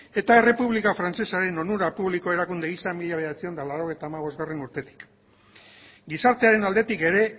eta errepublika frantsesaren onura publiko erakunde gisa mila bederatziehun eta laurogeita hamabostgarrena urtetik gizartearen aldetik ere